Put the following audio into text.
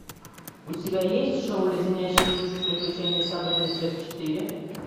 у тебя есть шоу леденящие душу приключения сабрины часть четыре